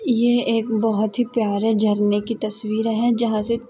ये एक बहुत प्यारा सा झरने की तस्वीर है जहासे--